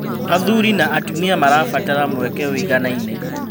Athuri na atumia marabatara mweke ũiganaine